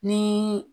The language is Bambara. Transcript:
Ni